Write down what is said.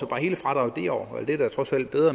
bare hele fradraget det år det er da trods alt bedre